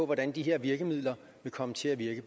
hvordan de her virkemidler vil komme til at virke